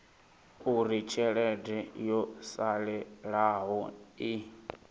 uri tshelede yo salelaho i